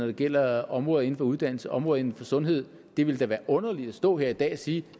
det gælder områder inden for uddannelse og områder inden for sundhed det ville da være underligt at stå her i dag og sige